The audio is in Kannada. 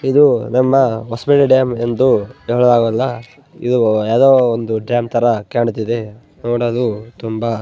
ಇದು ನಮ್ಮ ಹೊಸಪೇಟೆ ಡ್ಯಾಮ್ ಎಂದು ಹೇಳೋಕಾಗೋಲ ಇದು ಯಾವುದೊ ಒಂದು ಡ್ಯಾಮ್ ತರ ಕಾಣ್ತಿದೆ ನೋಡಲು ತುಂಬ --